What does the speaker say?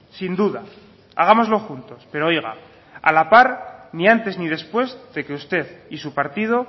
sin duda hagámoslo juntos pero oiga a la par ni antes ni después de que usted y su partido